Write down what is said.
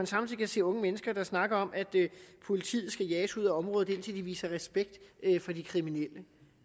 samtidig kan se unge mennesker der snakker om at politiet skal jages ud af området indtil man viser respekt for de kriminelle